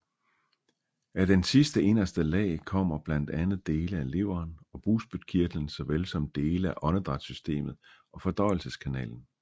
Af den sidste inderste lag kommer blandt andet dele af leveren og bugspytkirtlen såvel som dele af åndedrætssystemet og fordøjelseskanalen